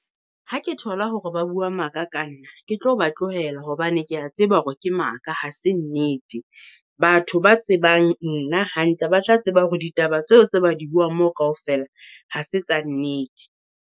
Ha ke thola hore ba bua maka ka nna, ke tlo ba tlohela hobane ke a tseba hore ke maka ha se nnete. Batho ba tsebang nna hantle ba tla tseba hore ditaba tseo tse ba di buang moo kaofela ha se tsa nnete.